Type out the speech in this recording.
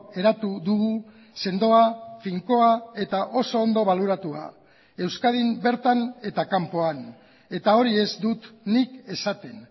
eratu dugu sendoa finkoa eta oso ondo baloratua euskadin bertan eta kanpoan eta hori ez dut nik esaten